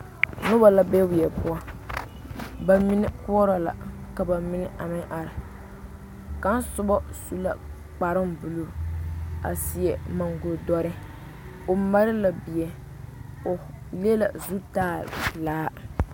Dɔbɔ ne pɔɔbɔ la ka ba bone ka dɔɔ vare a leɛ popelaa ka kaŋa gbi kyɛ vɔgle zupile su kparepelaa ka kaŋa are a su kparetapɛloŋ a pɛgle bɔɔduaa vaare.